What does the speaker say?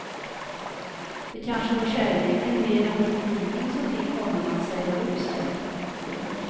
Det kanske var kärleken mer än politiken som fick honom att säga upp sig. punkt